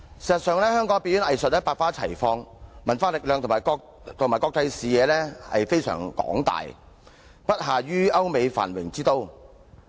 事實上，香港的表演藝術百花齊放，文化力量與國際視野非常廣大，不下於歐美繁榮之都。